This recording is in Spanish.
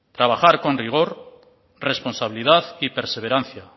trabajar con rigor responsabilidad y perseverancia